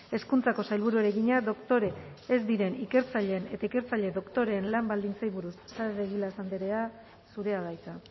hezkuntzako sailburuari egina doktore ez diren ikertzaileen eta ikertzaile doktoreen lan baldintzei buruz saez de egilaz andrea zurea da hitza